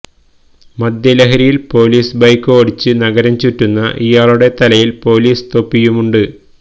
മദ്യ ലഹരിയിൽ police bike ഓടിച്ച് നഗരം ചുറ്റുന്ന ഇയാളുടെ തലയിൽ പോലീസ് തൊപ്പിയുമുണ്ട്